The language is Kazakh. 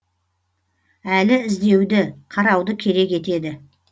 әлі іздеуді қарауды керек етеді